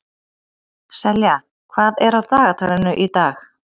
Selja, hvað er á dagatalinu í dag?